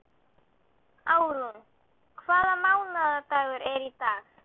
Árún, hvaða mánaðardagur er í dag?